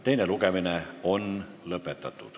Teine lugemine on lõppenud.